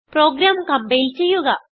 programme compile ചെയ്യുക